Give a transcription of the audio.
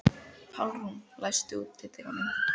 Pálrún, læstu útidyrunum.